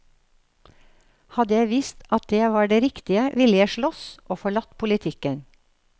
Hadde jeg visst at det var det riktige, ville jeg sloss, og forlatt politikken.